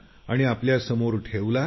आणि आपल्यासमोर ठेवला